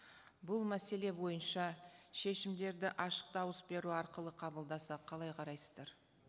бұл мәселе бойынша шешімдерді ашық дауыс беру арқылы қабылдасақ қалай қарайсыздар